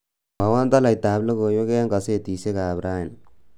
mwowon toloitatab logoiwek en gosetisiek ab rani